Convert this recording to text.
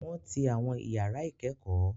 Wọ́n ti àwọn ìyàrá ìkẹ́kọ̀ọ́.